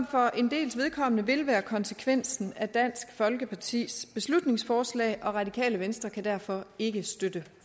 for en dels vedkommende vil være konsekvensen af dansk folkepartis beslutningsforslag radikale venstre kan derfor ikke støtte